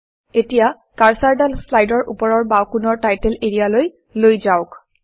এতিয়া কাৰ্চৰডাল শ্লাইডৰ ওপৰৰ বাওঁকোণৰ টাইটেল এৰিয়ালৈ লৈ যাওক